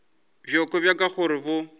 bjoko bja ka gore bo